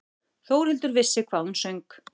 Þórhildur vissi hvað hún söng.